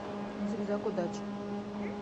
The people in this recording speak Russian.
зигзаг удачи